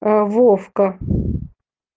ээ вовка